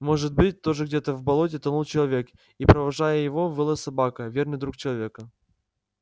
может быть тоже где-то в болоте тонул человек и провожая его выла собака верный друг человека